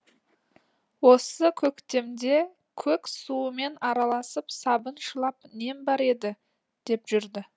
осы көктемде көк суымен араласып сабыншылап нем бар еді деп жүрді